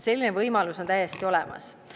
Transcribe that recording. Selline võimalus on täiesti olemas.